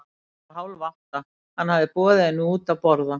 Klukkan var hálf átta, hann hafði boðið henni henni út að borða.